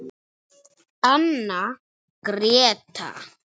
Anna Gréta.